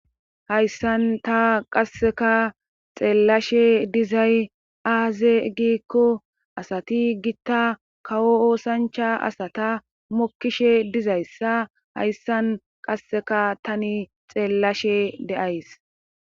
hayssan ta qasseka xeellashe dizay aaze giikko asati gitta kawo oosancha asata mokkishe dizayssa hayssan qasseka tani xeellashe de7ays